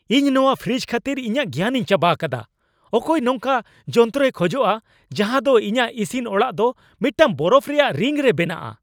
ᱤᱧ ᱱᱚᱶᱟ ᱯᱷᱨᱤᱡᱽ ᱠᱷᱟᱹᱛᱤᱨ ᱤᱧᱟᱹᱜ ᱜᱮᱭᱟᱱᱤᱧ ᱪᱟᱵᱟ ᱟᱠᱟᱫᱟ, ᱚᱠᱚᱭ ᱱᱚᱝᱠᱟᱱ ᱡᱚᱱᱛᱨᱚᱭ ᱠᱷᱚᱡᱚᱜᱼᱟ ᱡᱟᱦᱟ ᱫᱚ ᱤᱧᱟᱹᱜ ᱤᱥᱤᱱ ᱚᱲᱟᱜ ᱫᱚ ᱢᱤᱫᱴᱟᱝ ᱵᱚᱨᱚᱯᱷ ᱨᱮᱭᱟᱜ ᱨᱤᱝ ᱨᱮ ᱵᱮᱱᱟᱜᱼᱟ ?